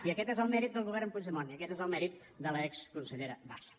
i aquest és el mèrit del govern puigdemont i aquest és el mèrit de l’exconsellera bassa